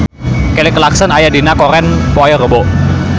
Kelly Clarkson aya dina koran poe Rebo